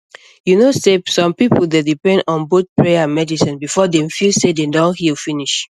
you know sey some people dey depend on both prayer and medicine before dem feel say dem don heal finish